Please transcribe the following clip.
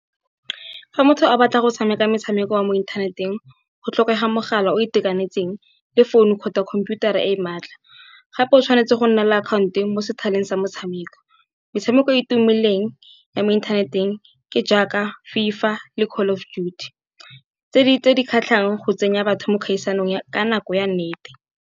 Fa motho a batla go tshameka metshameko ya mo inthaneteng go tlhokega mogala o itekanetseng, le founu kgotsa khomputara e e maatla. Gape o tshwanetse go nna le akhaonto mo sethaleng sa motshameko, metshameko e e tumileng ya mo inthaneteng ke jaaka FIFA le call of duty, tse di kgatlhang go tsenya batho mo kgaisanong ka nako ya nnete.